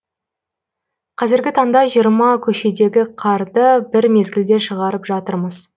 қазіргі таңда жиырма көшедегі қарды бір мезгілде шығарып жатырмыз